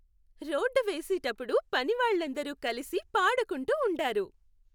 Road వేసేటప్పుడు పనివాళ్ళందరూ కలిసి పాడుకుంటూ ఉండారు.